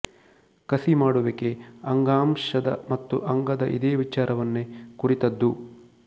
ಕಸಿ ಮಾಡುವಿಕೆ ಅಂಗಾಂಶದ ಮತ್ತು ಅಂಗದ ಇದೇ ವಿಚಾರವನ್ನೇ ಕುರಿತದ್ದು